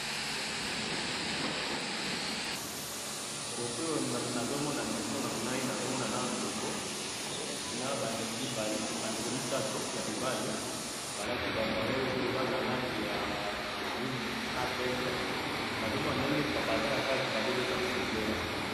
Photo oyo nazo mona liboso na ngai , nazo mona nanu ndembo na ba ndeko misatu ya mibali, ba lati ba varese oyo eza na ba langi miondo na pembe, nazo mona ndenge baza nakati bazo beta football